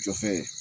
Jɔfɛ